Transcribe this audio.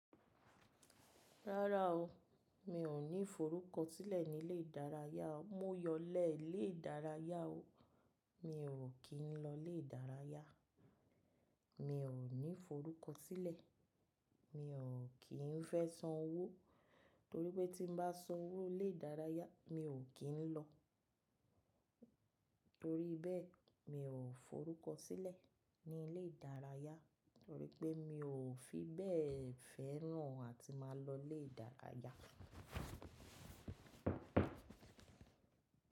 Rárá o, mi ò ní forúkọ sílẹ̀ nílé ìdárayá. Mó yọlẹ́ lé ìdárayá o. Mi ò kí n lọ lé ìdárayá. Mi ò ní forúkọ sílẹ̀. Mi ò kín fẹ́ san owó torí pé tí n bá san owó lé ìdárayá mi ò kín lọ. Torí bẹ́ẹ̀ mi ò forúkọ sílẹ̀ nílé ìdárayá torí pé mi ò fi bẹ́ẹ̀ fẹ́ràn àti máa lọ lé ìdárayá.